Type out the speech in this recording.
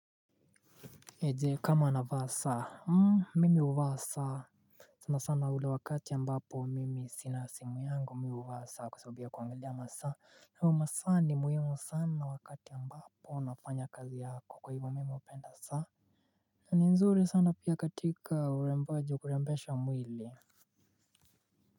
Je kama navaa saa? Mimi huvasa sanasana ule wakati ambapo mimi sina simu yangu mimi huvaa saa kwa sababu kuangalia masaa masaa ni muhimu sana wakati ambapo nafanya kazi yako kwa hivyo mimi hupenda saa na ni nzuri sana pia katika urembaji wa kurembesha mwili.